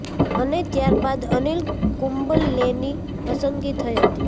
અને ત્યાર બાદ અનિલ કુંબલેની પસંદગી થઈ હતી